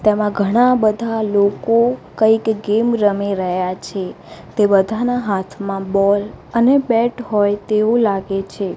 તેમા ઘણા બધા લોકો કઇક ગેમ રમી રહ્યા છે તે બધાના હાથમાં બૉલ અને બેટ હોય તેવુ લાગે છે.